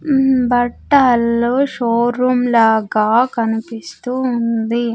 ఉమ్ బట్టలు షోరూమ్ లాగా కనిపిస్తూ ఉంది.